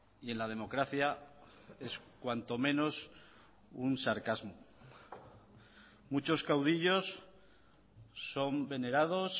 y en la democracia es cuanto menos un sarcasmo muchos caudillos son venerados